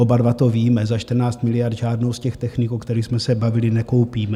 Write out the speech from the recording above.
Oba dva to víme, za 14 miliard žádnou z těch technik, o kterých jsme se bavili, nekoupíme.